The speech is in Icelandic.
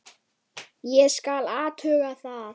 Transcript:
Ég skal athuga það.